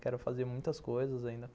Quero fazer muitas coisas ainda.